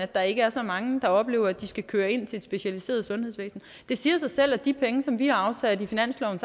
der ikke er så mange der oplever at de skal køre ind til et specialiseret sundhedsvæsen det siger jo sig selv at de penge som vi har afsat i finansloven